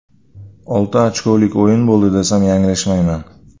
Olti ochkolik o‘yin bo‘ldi desam yanglishmayman.